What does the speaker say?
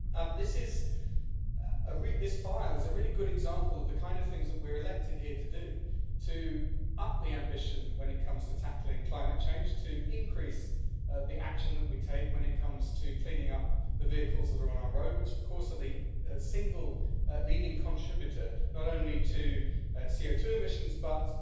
This file is a really good example of the kind of things that we were elected here to do to up the ambition when it comes to tackling climate change, to increase the action that we take when it comes to cleaning up the vehicles that are on our roads, which are the single leading contributor not only to CO2 emissions but